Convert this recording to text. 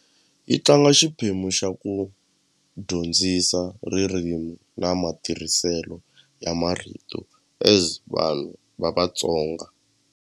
Yi tlanga xiphemu xa ku dyondzisa ririmi na matirhiselo ya marito as vanhu va Vatsonga.